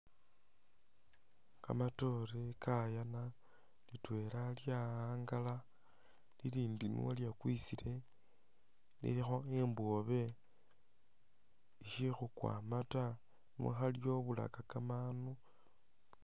Kamatoore kayaana, litweela lyawangala lilindi ne lyekwisile lilikho imbobwe ishikhukwa ama ta ne khalyobulaka kamandu